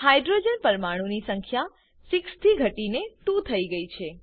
hydrogen પરમાણુ ની સંખ્યા 6 થી ઘટી ને 2 થયી છે